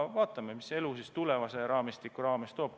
Vaatame, mida elu siis tulevase raamistiku osas toob.